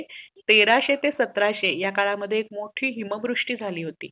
तेराशे ते सतराशे ह्या काळा मध्ये मोठे हिमवृष्टी झाली होती.